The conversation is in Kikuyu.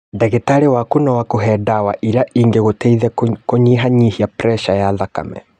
Ndagĩtarĩ waku no akuhe ndawa iria ingĩgũteithia kũnyihanyihia preca ya thakame